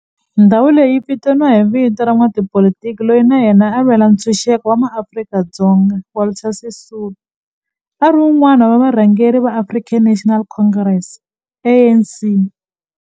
Ndhawo leyi yi vitaniwa hi vito ra n'watipolitiki loyi na yena a lwela ntshuxeko wa maAfrika-Dzonga Walter Sisulu, a ri wun'wana wa varhangeri va African National Congress ANC.